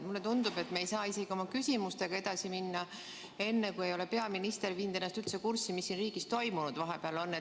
Mulle tundub, et me ei saa oma küsimustega edasi minna enne, kui peaminister ei ole viinud ennast kurssi, mis siin riigis toimunud on vahepeal.